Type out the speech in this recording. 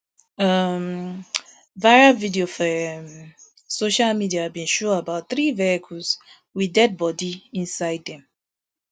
um v iral video for um social media bin show about three vehicles wit deadi bodi inside dem